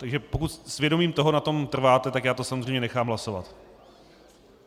Takže pokud s vědomím toho na tom trváte, tak já to samozřejmě nechám hlasovat.